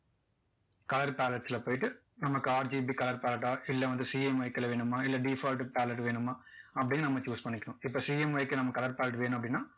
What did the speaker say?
colour palette ல போயிட்டு நமக்கு RGB colour palette லா இல்ல வந்து CMYK ல வேணுமா இல்ல default palette வேணுமா அப்படின்னு நம்ம choose பண்ணிக்கலாம் இப்போ CMYK க்கு நம்ம clour palette வேணும் அப்படின்னா